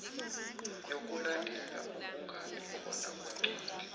yokulandela ukungabikhona kwencwadi